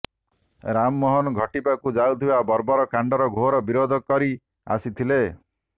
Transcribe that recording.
ରାମମୋହନ ଘଟିବାକୁ ଯାଉଥିବା ବର୍ବର କାଣ୍ଡର ଘୋର ବିରୋଧ କରି ଆସିଥିଲେ